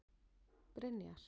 Brynjar